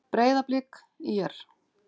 Breiðablik- ÍR